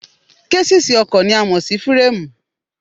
Késìsì ọkọ̀ ni a mọ̀ sí fíràmù